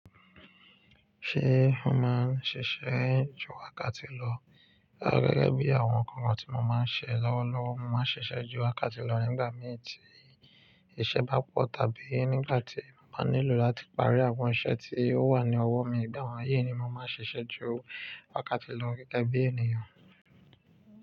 Ṣé mo máa ń ṣiṣẹ́ ju wákàtí lọ? Rárá gẹ́gẹ́ bí àwọn ǹkan tí mo máa ń ṣe lọ́wọ́lọ́wọ́, mo máa ń ṣiṣẹ́ ju wákàtí lọ nígbà mí tí iṣẹ́ bá pọ̀ tàbí nígbà tí mo bá nílò láti parí àwọn iṣẹ́ tí ó wà ní ọwọ́ mi. Gẹ́gẹ́ bí àwọn ayé ni mo máa ń ṣiṣẹ́ ju wákàtí lọ gẹ́gẹ́ bí ènìyàn.